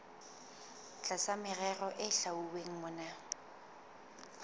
tlasa merero e hlwauweng mona